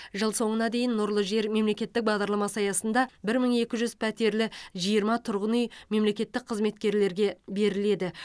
жыл соңына дейін нұрлы жер мемлекеттік бағдарламасы аясында бір мың екі жүз пәтерлі жиырма тұрғын үй мемлекеттік қызметкерлерге беріледі